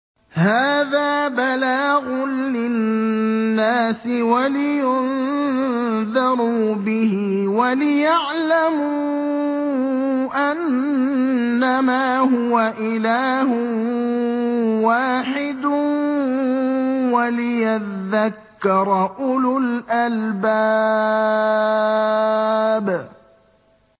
هَٰذَا بَلَاغٌ لِّلنَّاسِ وَلِيُنذَرُوا بِهِ وَلِيَعْلَمُوا أَنَّمَا هُوَ إِلَٰهٌ وَاحِدٌ وَلِيَذَّكَّرَ أُولُو الْأَلْبَابِ